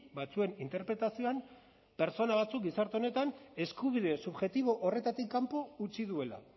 batzuen interpretazioan pertsona batzuk gizarte honetan eskubide subjektibo horretatik kanpo utzi duela